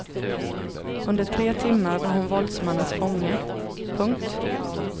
Under tre timmar var hon våldsmannens fånge. punkt